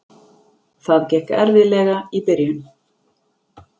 Það gekk erfiðlega í byrjun.